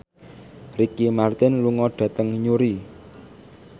Ricky Martin lunga dhateng Newry